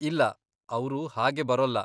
ಇಲ್ಲ, ಅವ್ರು ಹಾಗೆ ಬರೋಲ್ಲ.